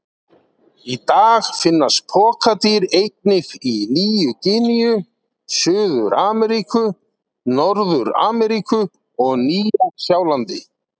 Í dag finnast pokadýr einnig í Nýju-Gíneu, Suður-Ameríku, Norður-Ameríku og Nýja-Sjálandi.